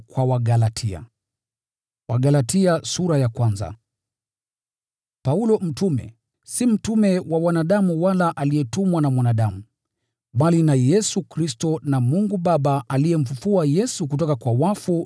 Paulo mtume: si mtume wa wanadamu wala aliyetumwa na mwanadamu, bali na Yesu Kristo na Mungu Baba aliyemfufua Yesu kutoka kwa wafu;